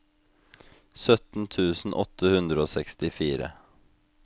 sytten tusen åtte hundre og sekstifire